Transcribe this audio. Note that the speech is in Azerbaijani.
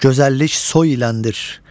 Gözəllik soy iləndir.